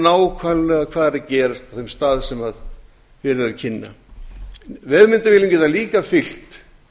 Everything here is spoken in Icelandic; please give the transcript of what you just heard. nákvæmlega hvað er að gerast á þeim stað sem verið er að kynna vefmyndavélum geta líka fylgt